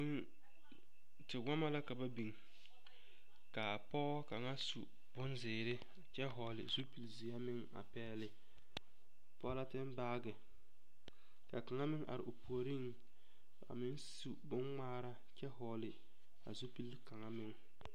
Tewɔmɔ la ka ba biŋ k'a pɔge kaŋa su bonzeere kyɛ hɔɔle zupili zeɛ meŋ a pɛɛle pɔleten baagi ka kaŋa meŋ are o puoriŋ a meŋ su boŋŋmaara kyɛ hɔɔle a zupili kaŋa meŋ.